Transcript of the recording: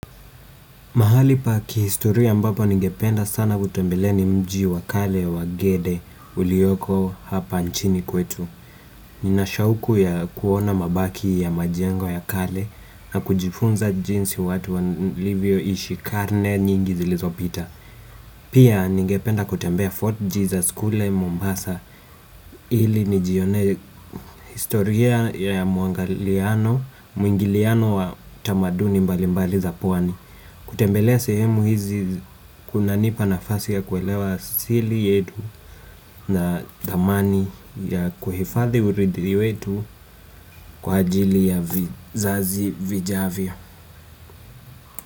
Mahali paki historia mbapo ningependa sana kutembelea ni mji wa kale wa gede uliyoko hapa nchini kwetu. Ninashauku ya kuona mabaki ya majengo ya kale na kujifunza jinsi watu walivyo ishi karne nyingi zilizo pita. Pia ningependa kutembea Fort Jesus Kule Mombasa ili nijione historia ya muangaliliano muingiliano wa tamaduni mbali mbali za pwani. Kutembelea sehemu hizi kunanipa nafasi ya kuelewa asili yetu na dhamani ya kuhifadhi uridhi wetu kwa ajili ya vizazi vijavyo.